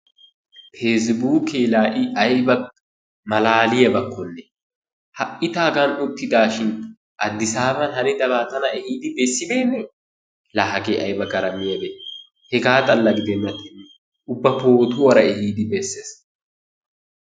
Peesibuukee laa I ayba malaaliyabakkonne, ha"i ta hagan uttidaashin Addisaaban hanidabaa tana ehiidi bessibeennee! Laa hagee ayba garamiyabee, hegaa xalla gidennattennee ubba pootuwara ehiidi bessees.